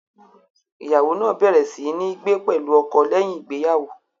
Ìyàwó náà bẹ̀rẹ̀ sí ní gbé pẹ̀lú ọkọ lẹ́yìn ìgbéyàwó.